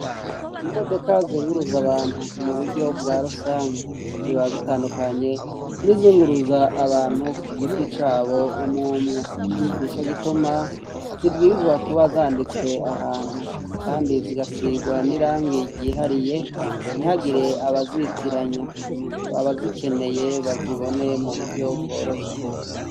Imodoka zunguruza abantu mu buryo bwa rusangi ziba zitandukanye n'izunguruza abantu ku giti cabo umwumwe, nico gituma zibwirizwa kuba zanditswe ahantu kandi zigasigwa n'irangi ryihariye ntihagire abazitiranya, abazikeneye bazibone mu buryo bworoshe.